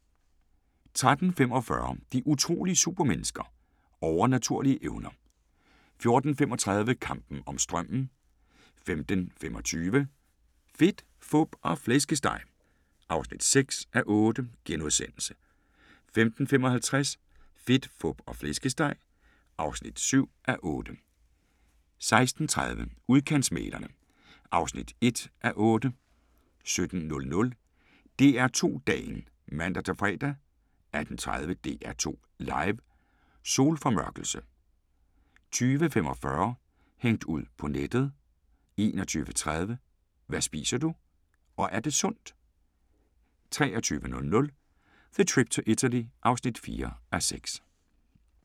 13:45: De utrolige supermennesker – Overnaturlige evner 14:35: Kampen om strømmen 15:25: Fedt, fup og flæskesteg (6:8)* 15:55: Fedt, Fup og Flæskesteg (7:8) 16:30: Udkantsmæglerne (1:8) 17:00: DR2 Dagen (man-fre) 18:30: DR2 Live: Solformørkelse 20:45: Hængt ud på nettet 21:30: Hvad spiser du – og er det sundt? 23:00: The Trip to Italy (4:6)